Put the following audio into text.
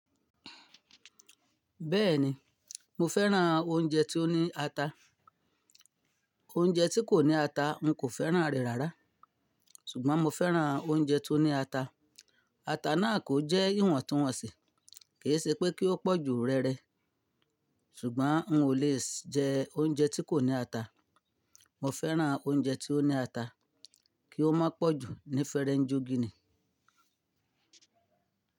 Bẹ́ẹ̀ni, mo fẹ́ran oúnjẹ tí ó ní ata. Oúnjẹ tí kò ní ata n kò fẹ́ran rẹ̀ rárá. Ṣùgbọ́n mo fẹ́ran oúnjẹ tó ní ata. Ata náà kò jẹ́ ìwọ̀ntúnwọ̀nsì, kì ṣe pé kí ó pọ̀ ju rere, ṣùgbọ́n n ò lè jẹ oúnjẹ tí kò ní ata. Mo fẹ́ran oúnjẹ tí ó ní ata, kí ó má pọ̀ jù ní fere jo gínì.